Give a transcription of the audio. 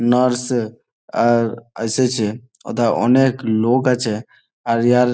Nurse আর আসেছে আর হোথা অনেক লোক আছে । আর ইহার --